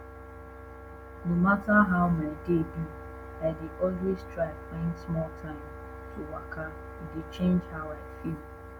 no matta how my day be i dey always try find small time to waka e dey change how i feel